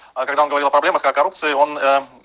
а когда он говорил о проблемах о коррупции он